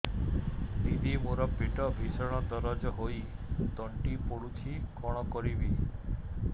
ଦିଦି ମୋର ପେଟ ଭୀଷଣ ଦରଜ ହୋଇ ତଣ୍ଟି ପୋଡୁଛି କଣ କରିବି